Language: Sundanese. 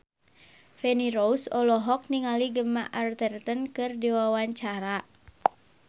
Feni Rose olohok ningali Gemma Arterton keur diwawancara